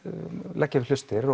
leggja við hlustir